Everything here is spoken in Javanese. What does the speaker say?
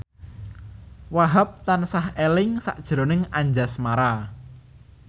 Wahhab tansah eling sakjroning Anjasmara